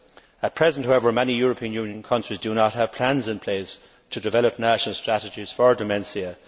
At present, however, many European Union countries do not have plans in place to develop national strategies for dementia